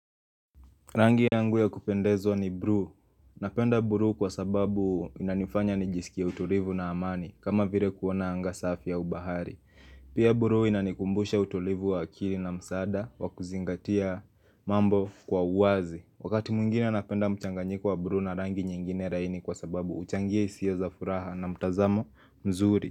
Rangi yangu ya kupendezwa ni buluu Napenda buluu kwa sababu inanifanya nijisikia utulivu na amani kama vile kuona anga safi ya ubahari. Pia buluu inanikumbusha utulivu wa akili na msaada wa kuzingatia mambo kwa uwazi. Wakati mwingine napenda mchanganyiko wa buluu na rangi nyingine laini kwa sababu huchangia hisia za furaha na mtazamo mzuri.